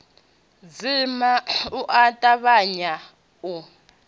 dzima u a tavhanya u